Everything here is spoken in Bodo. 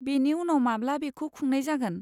बेनि उनाव माब्ला बेखौ खुंनाय जागोन?